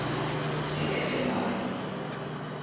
seesemane